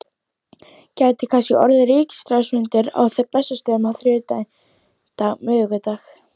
Heimir: Gæti kannski orðið ríkisráðsfundur á Bessastöðum á þriðjudag, miðvikudag?